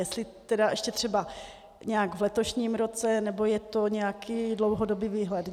Jestli tedy ještě třeba nějak v letošním roce, nebo je to nějaký dlouhodobý výhled.